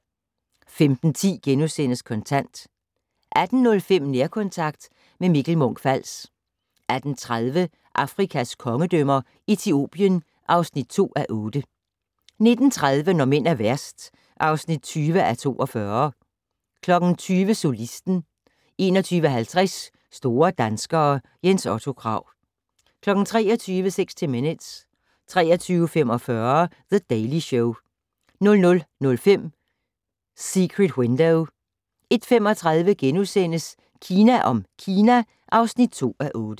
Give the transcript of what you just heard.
15:10: Kontant * 18:05: Nærkontakt - med Mikkel Munch-Fals 18:30: Afrikas kongedømmer - Etiopien (2:8) 19:30: Når mænd er værst (20:42) 20:00: Solisten 21:50: Store danskere - Jens Otto Krag 23:00: 60 Minutes 23:45: The Daily Show 00:05: Secret Window 01:35: Kina om Kina (2:8)*